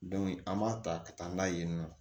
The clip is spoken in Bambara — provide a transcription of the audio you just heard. an b'a ta ka taa n'a ye yen nɔ